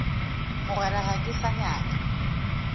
mogwera ga ke sa nyaka